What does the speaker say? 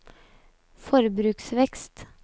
forbruksvekst